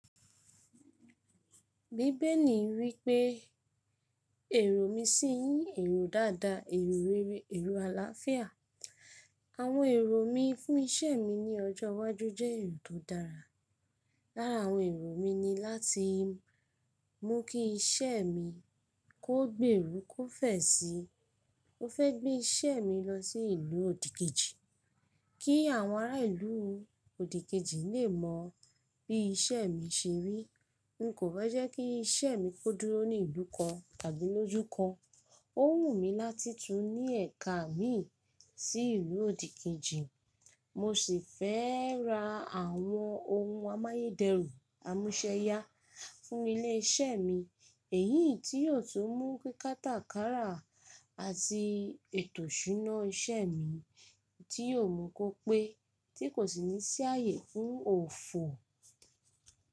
Bíbẹ̀li wípé èrò mi ṣì yí èrò dáadáa, èrò rere, èrò àlàáfíà. Àwọn èrò mi fún ìṣe mi ní ọjọ́ iwájú jẹ́ èrò tó dára. Lára àwọn èrò mi ni láti mú kí iṣẹ́ mi kó gbèrú kó fẹ̀ sí. Mo fẹ́ gbé iṣẹ́ mi lọ sí ìlú òdìkejì kí àwọn ará ìlú òdìkejì lè mọ bí iṣẹ́ mi ṣe rí. N kò fẹ́ jẹ́ kí iṣẹ́ mi kó dúró ní ìlú kan tàbí lójú kan. Ó wù mí láti tún ní ẹ̀ka mi sí ìlú òdìkejì. Mo sì fẹ́ ra àwọn ohun amáyé dẹrùn, amúsẹ́yá fún ilé iṣẹ́ mi èyí tí yóò tún mú kí kátàkárà àti ètò iṣúná iṣẹ́ mi tí yóò mú kó pé tí kò sì ní sí ààyè fún òfò.